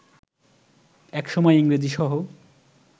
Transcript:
একসময় ইংরেজি সহ